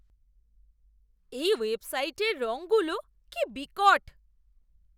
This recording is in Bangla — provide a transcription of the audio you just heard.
এই ওয়েবসাইটের রঙগুলো কি বিকট!